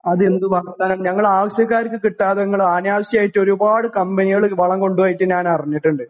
അതെന്തു വർത്താനാണ് ഞങ്ങളാവശ്യക്കാർക്ക് കിട്ടാതെ ഇങ്ങള് അനാവശ്യായിട്ടൊരുപാട് കമ്പനികള് വളം കൊണ്ടുപോയിട്ട് ഞാനറിഞ്ഞിട്ടുണ്ട്